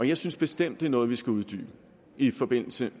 jeg synes bestemt det er noget vi skal uddybe i forbindelse